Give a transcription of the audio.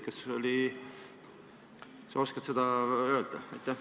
Oskad sa seda öelda?